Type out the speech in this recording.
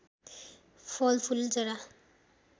फल फूल जरा